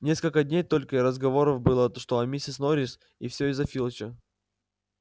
несколько дней только и разговоров было что о миссис норрис и все из-за филча